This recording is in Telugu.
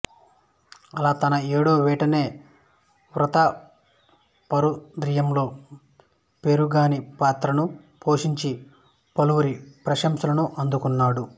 అలా తన ఏడవ ఏటనే ప్రతాపరుద్రీయంలో పేరిగాని పాత్రను పోషించి పలువురి ప్రశంసలను అందుకున్నాడు